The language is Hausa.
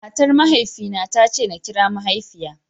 Matar Mahaifina ta nace nakira mahaifiya.